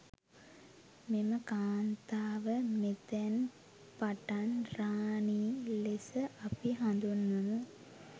මෙම කාන්තාව මෙතැන් පටන් රාණි ලෙස අපි හඳුන්වමු.